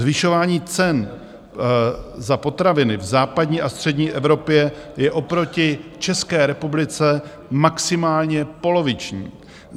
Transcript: Zvyšování cen za potraviny v západní a střední Evropě je oproti České republice maximálně poloviční.